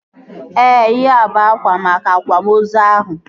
Ee, ihea bụ akwa maka akwamozu ahụ